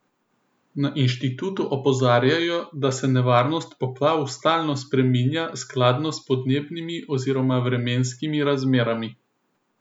Na inštitutu opozarjajo, da se nevarnost poplav stalno spreminja skladno s podnebnimi oziroma vremenskimi razmerami.